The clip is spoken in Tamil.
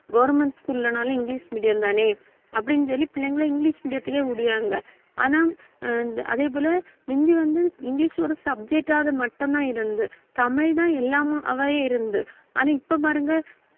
government school லனாலும் இங்கிலிஷ் medium தானே அப்படின்னு சொல்லி பிள்ளைங்களை இங்கிலிஷ் medium த்துக்கே விடுவாங்க ஆனா ஆஹ் அதே போல முந்தி வந்து, இங்கிலிஷ் ஒரு subject ஆவது மட்டும்தான் இருந்தது தமிழ்தான் எல்லாமவே இருந்து ஆனா இப்ப பாருங்க